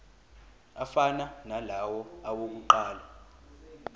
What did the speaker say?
afana nalawo awokuqala